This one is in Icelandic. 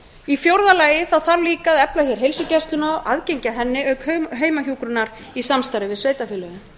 í fjórða lagi þarf líka að efla hér heilsugæsluna aðgengi að henni auk heimahjúkrunar í samstarfi við sveitarfélögin